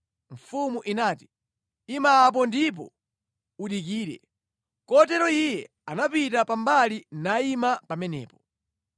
Mfumu inati, “Ima apo ndipo udikire.” Kotero iye anapita pa mbali nayima pamenepo.